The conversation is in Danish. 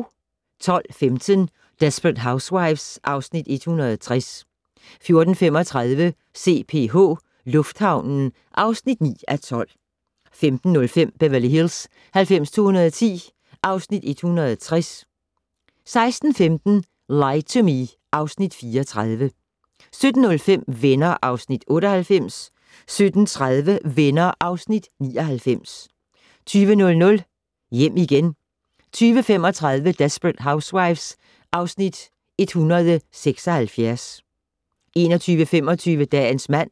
12:15: Desperate Housewives (Afs. 160) 14:35: CPH - lufthavnen (9:12) 15:05: Beverly Hills 90210 (Afs. 160) 16:15: Lie to Me (Afs. 34) 17:05: Venner (Afs. 98) 17:30: Venner (Afs. 99) 20:00: Hjem igen 20:35: Desperate Housewives (Afs. 176) 21:25: Dagens mand